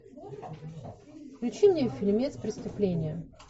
включи мне фильмец преступление